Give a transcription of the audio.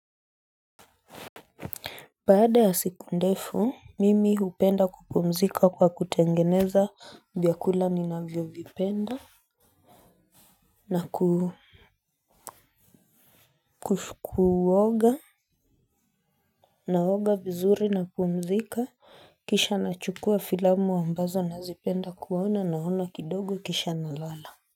Baada ya siku ndefu, mimi hupenda kupumzika kwa kutengeneza vyakula ninavyovipenda na ku kuoga, naoga vizuri napumzika kisha nachukua filamu ambazo nazipenda kuona, naona kidogo kisha nalala.